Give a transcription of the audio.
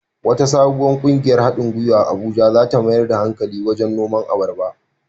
Wata sabuwar ƙungiyar haɗin gwiwa a Abuja za ta mayar da hankali wajen noman abarba.